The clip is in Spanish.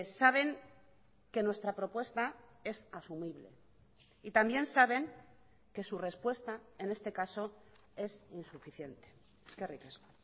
saben que nuestra propuesta es asumible y también saben que su respuesta en este caso es insuficiente eskerrik asko